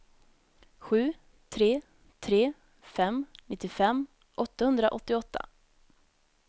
sju tre tre fem nittiofem åttahundraåttioåtta